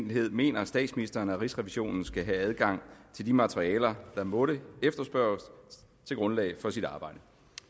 enkelhed mener statsministeren at rigsrevisionen skal have adgang til de materialer den måtte efterspørge til grundlag for sit arbejde